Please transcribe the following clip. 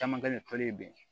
Caman kɛlen toli bi